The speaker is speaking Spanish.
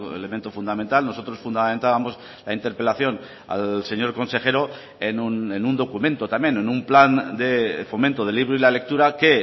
elemento fundamental nosotros fundamentábamos la interpelación al señor consejero en un documento también en un plan de fomento de libro y la lectura que